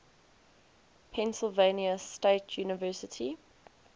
pennsylvania state university